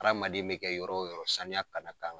Adamaden bɛ kɛ yɔrɔ yɔrɔ saniya kan ŋa k'a la.